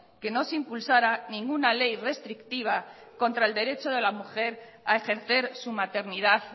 que no se impulsara ninguna ley restrictiva contra el derecho de la mujer a ejercer su maternidad